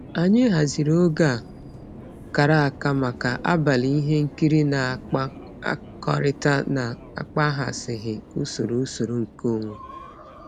Anyị haziri oge a kara aka maka abalị ihe nkiri na-akpakọrịta na-akpaghasịghị usoro usoro nkeonwe.